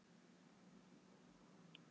"""Nei, þú skalt ekki halda það!"""